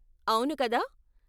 అవును, కదా?